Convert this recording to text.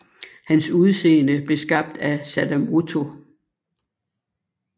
Hans udseende blev skabt af Sadamoto